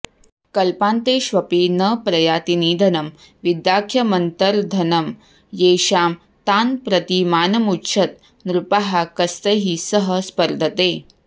कल्पान्तेष्वपि न प्रयाति निधनं विद्याख्यमन्तर्धनं येषां तान् प्रति मानमुज्झत नृपाः कस्तैः सह स्पर्धते